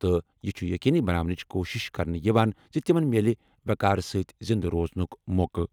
تہٕ یہِ چُھ یقینی بناونٕچ کوٗشش کران زِ تِمَن میلہِ وقار سٕتۍ زِنٛدٕ روزنُک موقعہٕ۔